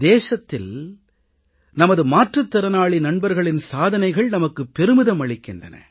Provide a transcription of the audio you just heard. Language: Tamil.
தேசத்தில் நமது மாற்றுத் திறனாளி நண்பர்களின் சாதனைகள் நமக்குப் பெருமிதம் அளிக்கின்றன